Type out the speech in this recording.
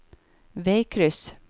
veikryss